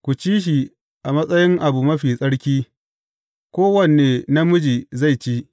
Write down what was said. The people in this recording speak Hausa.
Ku ci shi a matsayin abu mafi tsarki; kowane namiji zai ci.